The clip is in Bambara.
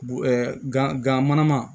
Bo ŋanama